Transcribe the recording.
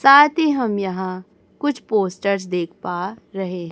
साथ ही हम यहां कुछ पोस्टर्स देख पा रहे है।